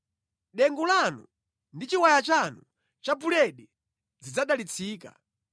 Dengu lanu ndi chiwaya chanu cha buledi zidzadalitsika.